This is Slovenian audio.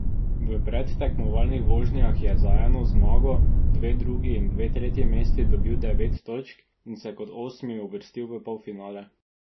V predtekmovalnih vožnjah je za eno zmago, dve drugi in dve tretji mesti dobil devet točk in se kot osmi uvrstil v polfinale.